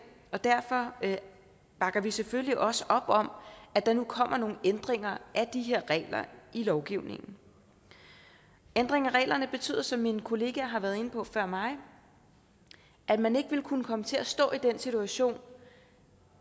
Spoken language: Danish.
og derfor bakker vi selvfølgelig også op om at der nu kommer nogle ændringer af de her regler i lovgivningen ændringen af reglerne betyder som mine kollegaer har været inde på før mig at man ikke vil kunne komme til at stå i den situation